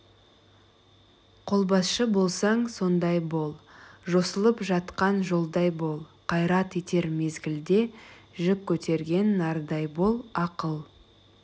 қолбасшы болсаң сондай бол жосылып жатқан жолдай бол қайрат етер мезгілде жүк көтерген нардай бол ақыл